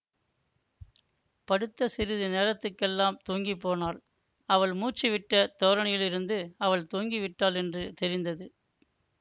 படுத்த சிறிது நேரத்துக்கெல்லாம் தூங்கிப் போனாள் அவள் மூச்சுவிட்ட தோரணையிலிருந்து அவள் தூங்கி விட்டாள் என்று தெரிந்தது